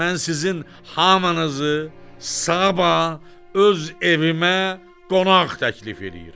Mən sizin hamınızı sabah öz evimə qonaq təklif eləyirəm.